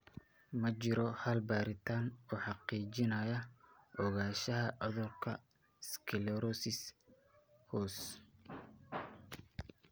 Ma jiro hal baaritaan oo xaqiijinaya ogaanshaha cudurka sclerosis hoose (PLS).